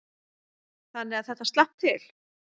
Þannig að þetta slapp til.